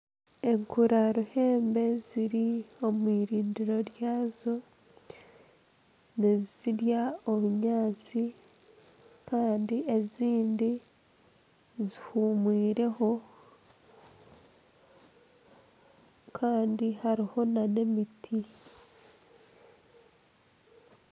Enkura ruhembe ziri omu irindiro ryaazo nizirya obunyaatsi Kandi ezindi zihumwireho Kandi hariho nana emiti.